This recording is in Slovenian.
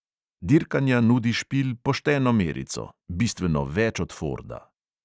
Dirkanja nudi špil pošteno merico, bistveno več od forda.